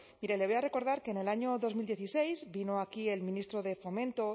mire le voy a recordar que en el año dos mil dieciséis vino aquí el ministro de fomento